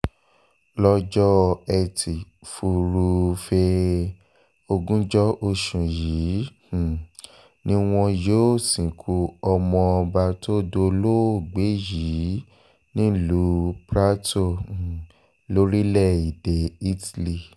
lọ́jọ́ etí furuufee ogunjọ oṣù yìí um ni wọn yóò sìnkú ọmọọba tó dolóògbé yìí nílùú prato um lórílẹ̀‐èdè italy